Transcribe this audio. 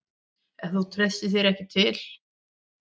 Ef þú treystir þér til.